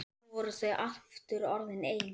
Nú voru þau aftur orðin ein.